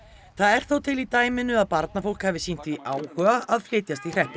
það er þó til í dæminu að barnafólk hafi sýnt því áhuga að flytjast í hreppinn